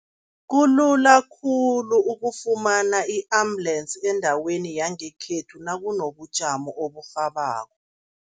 Kulula khulu ukufumana i-ambulensi endaweni yangekhethu nakunobujamo oburhabako.